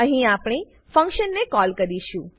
અહી આપણે ફંક્શન ને કોલ કરીશું